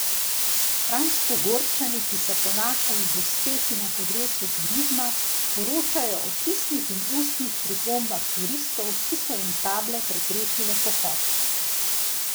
Kranjskogorčani, ki se ponašajo z uspehi na področju turizma, poročajo o pisnih in ustnih pripombah turistov, ki so jim table preprečile pohod.